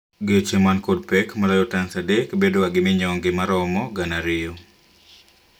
Geche man kod pek maloyo tans adek bedo ga minyonge maromo gana ariyo